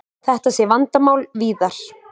Þetta sé vandamál víðar.